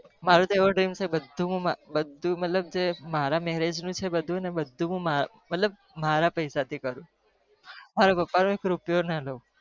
મારો તો એવી dream છે ક મારા marriage નો ખર્ચો હું મારા પૈસે જ કરું